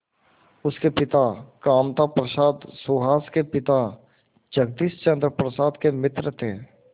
उसके पिता कामता प्रसाद सुहास के पिता जगदीश चंद्र प्रसाद के मित्र थे